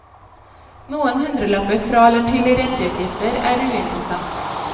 Noen hundrelapper fra eller til i renteutgifter er uinteressant.